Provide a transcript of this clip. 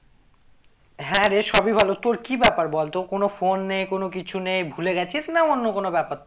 হ্যাঁ রে সবই ভালো, তোর কি ব্যাপার বলতো কোনো phone কোনো কিছু নেই ভুলে গেছিস না অন্য কোনো ব্যাপার